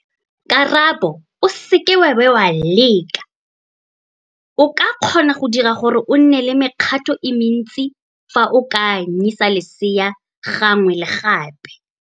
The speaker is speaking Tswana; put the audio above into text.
Karabo, o seke wa bo wa leka, o ka kgona go dira gore o nne le mekgato e mentsi fa o ka anyisa lesea gangwe le gape.